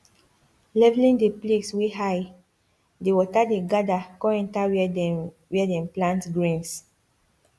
leveling the place wey high the water dey gather con enter where dem where dem plant greens